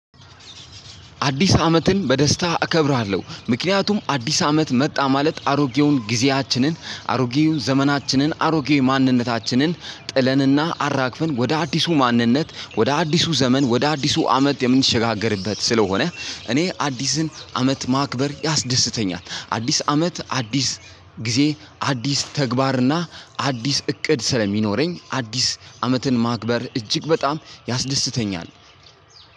አዲስ አመትን በደስታ እከብራለሁ ምክንያቱም አዲስ አመት መጣ ማለት አሮጌውን ጊዜያችንን አሮጌ ዘመናችንን አሮጌ ማንነታችንን ጥለንና አራግፈን ወደ አዲሱ ማንነት ወደ አዲሱ ዘመን ወደ አዲሱ አመት የምንሸጋገርበት ስለሆነ እኔ አዲስን አመት ማክበር ያስደስተኛል። አዲስ አመት አዲስ ጊዜ፣ አዲስ ተግባርና አዲስ እቅድ ስለሚኖረኝ አዲስ አመትን ማክበር እጅግ በጣም ያስደስተኛል።